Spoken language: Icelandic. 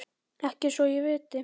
Ekki svo ég viti.